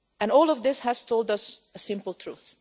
All of this has told us a simple truth.